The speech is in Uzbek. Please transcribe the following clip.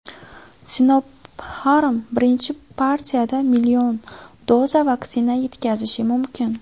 Sinopharm birinchi partiyada million doza vaksina yetkazishi mumkin.